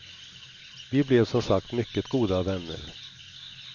Vi blev som sagt mycket goda vänner.